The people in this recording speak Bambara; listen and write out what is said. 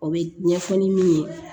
O bɛ ɲɛfɔ ni min ye